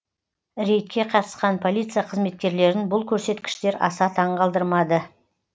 рейдке қатысқан полиция қызметкерлерін бұл көрсеткіштер аса таңғалдырмады